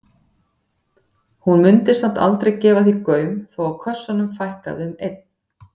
Hún mundi samt aldrei gefa því gaum þó að kössunum fækkaði um einn.